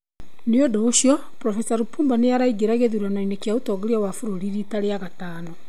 Nĩ ũndũ ũcio, Prof Lipumba nĩ araingĩra gĩthurano-inĩ kĩa ũtongoria wa bũrũri riita rĩa gatano.